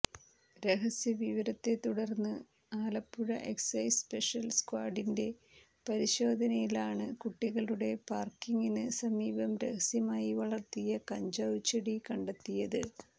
രഹസ്യവിവരത്തെത്തുടര്ന്ന് Alappuzha excise special സ്ക്വാഡിന്റെ പരിശോധനയിലാണ് കുട്ടികളുടെ പാര്ക്കിന് സമീപം രഹസ്യമായി വളര്ത്തിയ കഞ്ചാവ് ചെടി കണ്ടെത്തിയത്